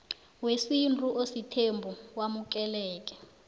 wesintu osithembu wamukeleke